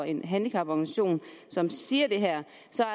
en handicaporganisation som siger det her